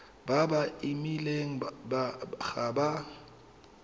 ba ba imileng ga ba